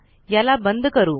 याला बंद करू